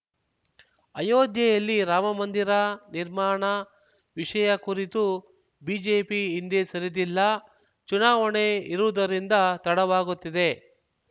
ಅಯೋಧ್ಯೆಯಲ್ಲಿ ರಾಮಮಂದಿರ ನಿರ್ಮಾಣ ವಿಷಯ ಕುರಿತು ಬಿಜೆಪಿ ಹಿಂದೆ ಸರಿದಿಲ್ಲ ಚುನಾವಣೆ ಇರುವುದರಿಂದ ತಡವಾಗುತ್ತಿದೆ